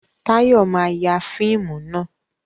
Táyọ̀ ma ya fíìmù náà